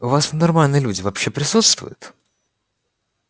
у вас там нормальные люди вообще присутствуют